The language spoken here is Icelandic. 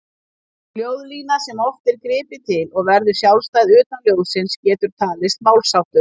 Ljóðlína, sem oft er gripið til, og verður sjálfstæð utan ljóðsins getur talist málsháttur.